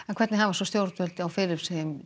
hvernig hafa stjórnvöld á Filippseyjum